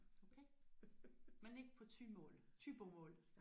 Okay. Men ikke på thymål thybomål?